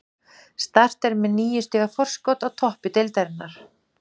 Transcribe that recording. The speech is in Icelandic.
Start er með níu stiga forskot á toppi deildarinnar.